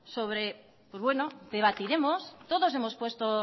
pues bueno debatiremos